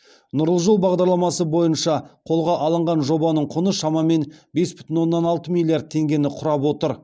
нұрлы жол бағдарламасы бойынша қолға алынған жобаның құны шамамен бес бүтін оннан алты миллиард теңгені құрап отыр